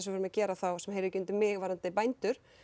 við erum að gera sem heyrir ekki undir mig varðandi bændur